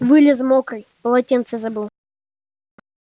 вылез мокрый полотенце забыл